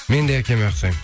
мен де әкеме ұқсаймын